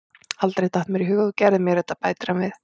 Aldrei datt mér í hug að þú gerðir mér þetta, bætir hann við.